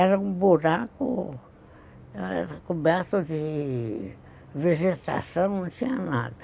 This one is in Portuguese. Era um buraco, era coberto de vegetação, não tinha nada.